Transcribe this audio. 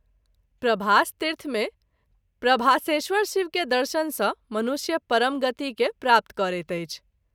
प्रभास तीर्थ मे प्रभासेश्वर शिव के दर्शन सँ मनुष्य परमगति के प्राप्त करैत अछि।